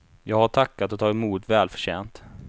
Jag har tackat och tagit emot välförtjänt.